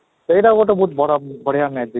ସେଇଟା ଗୋଟେ ବଡ ବଢିଆ magic